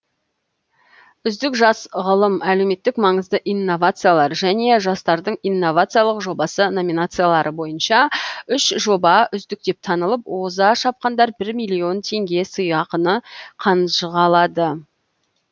үздік жас ғылым әлеуметтік маңызды инновациялар және жастардың инновациялық жобасы номинациялары бойынша үш жоба үздік деп танылып оза шапқандар бір миллион теңге сыйақыны қанжығалады